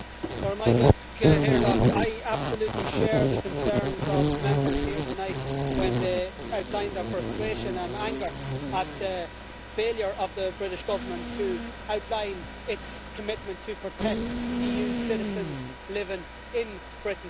Madam President, I absolutely share the concerns of Members here tonight when they outline their frustration and anger at the failure of the British Government to outline its commitment to protect EU citizens living in Britain.